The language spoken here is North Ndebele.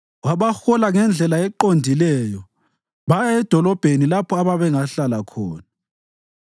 Wabahola ngendlela eqondileyo baya edolobheni lapho ababengahlala khona.